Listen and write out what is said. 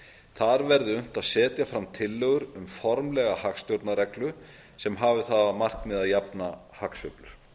þar verði unnt að setja fram tillögur um formlega hagstjórnarreglum sem hafi það að markmiði að jafna hagsveiflur